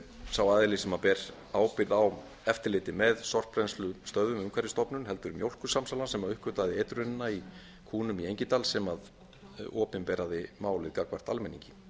sá aðili sem ber ábyrgð á eftirliti með sorpbrennslustöðvum umhverfisstofnun heldur mjólkursamsalan sem uppgötvaði eitrunina í kúnum í engidal sem opinberaði málið gagnvart almenningi